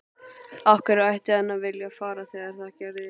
Af hverju ætti hann að vilja fara þegar það gerist?